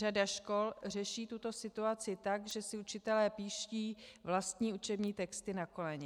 Řada škol řeší tuto situaci tak, že si učitelé píší vlastní učební texty na koleně.